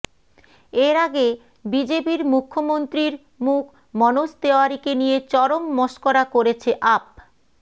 এর আগে বিজেপির মুখ্যমন্ত্রীর মুখ মনোজ তেওয়ারীকে নিয়ে চরম মশকরা করেছে আপ